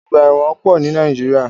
Ọgbà ẹ̀wọ̀n pọ̀ ní Nàíjíríà.